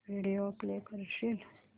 video play करशील